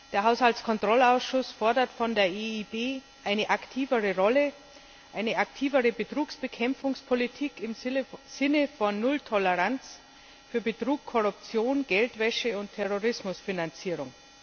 Der Haushaltskontrollausschuss fordert von der EIB eine aktivere Rolle, eine aktivere Betrugsbekämpfungspolitik im Sinne von Nulltoleranz für Betrug, Korruption, Geldwäsche und Terrorismusfinanzierung.